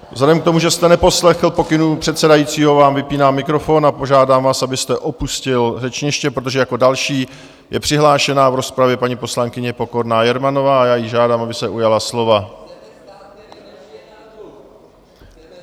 Vzhledem k tomu, že jste neposlechl pokynu předsedajícího, vám vypínám mikrofon a požádám vás, abyste opustil řečniště, protože jako další je přihlášena v rozpravě paní poslankyně Pokorná Jermanová a já ji žádám, aby se ujala slova.